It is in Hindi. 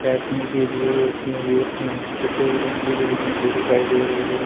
कटनी के लिए वो सफेद रंग की बिल्डिंग भी दिखाई दे रही है।